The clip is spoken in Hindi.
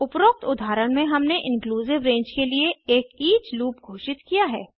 उपरोक्त उदाहरण में हमने इंक्लूसिव रेंज के लिए एक ईच लूप घोषित किया है